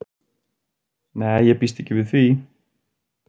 Nei, ég býst ekki við því.